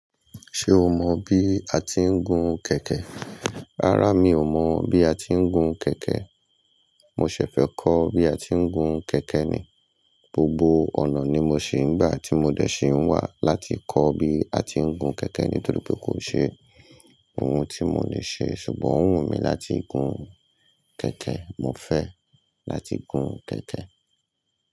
Ṣé o mọ bí a ti ń gun kẹ̀kẹ́? Rárá, mi ò mọ bí a ti ń gun kẹ̀kẹ́. Mo ṣẹ̀ fẹ́ kọ́ bí a ti ń gun kẹ̀kẹ́ ni. Gbogbo ọ̀nà ni mo ṣì ń gbà tí mo dẹ̀ ṣì ń wà láti kọ́ bí a ti ń gun kẹ̀kẹ́ nítorí pé kò ṣe ohun tí mo le ṣe ṣùgbọ́n òún wunmi láti gun kẹ̀kẹ́. Mo fẹ́ láti gun kẹ̀kẹ́.